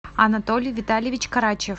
анатолий витальевич карачев